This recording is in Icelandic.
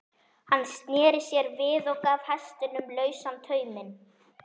Hann sneri sér við og gaf hestinum lausan tauminn.